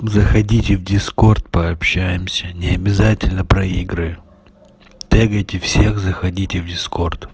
заходите в дискорд пообщаемся необязательно про игры тегайте всех заходите в дискорд